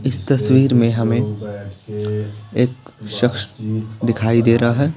इस तस्वीर में हमें एक शख्स दिखाई दे रहा है।